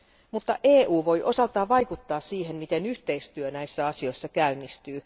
Mutta EU voi osaltaan vaikuttaa siihen, miten yhteistyö näissä asioissa käynnistyy.